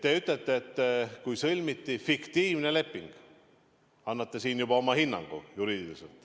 Kui ütlete, et sõlmiti fiktiivne leping, siis annate siin juba juriidiliselt oma hinnangu.